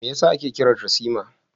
Me yasa ake kiran ta Sima?